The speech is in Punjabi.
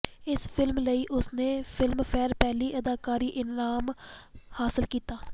ਇਸ ਫਿਲਮ ਲਈ ਉਸਨੇ ਫ਼ਿਲਮਫ਼ੇਅਰ ਪਹਿਲੀ ਅਦਾਕਾਰੀ ਇਨਾਮ ਹਾਸਲ ਕੀਤਾ